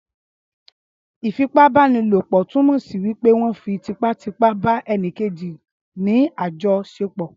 ìfipá-bá-ni-lò-pò túnmọ̀ sí wípé wón fi típà típà ba ẹni Kejì ni àjọ ṣẹpọ.